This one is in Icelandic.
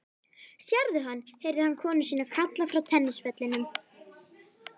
Sérðu hann? heyrði hann konu sína kalla frá tennisvellinum.